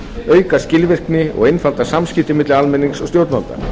auka skilvirkni og einfalda samskipti milli almennings og stjórnvalda